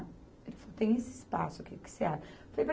Ele falou, tem esse espaço aqui, o que você acha.